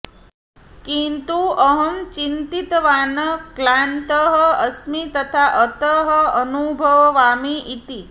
किन्तु अहं चिन्तितवान् क्लान्तः अस्मि तथा अतः अनुभवामि इति